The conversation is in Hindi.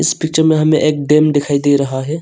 इस पिक्चर में हमें एक डेम दिखाई दे रहा है।